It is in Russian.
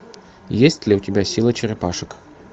есть ли у тебя сила черепашек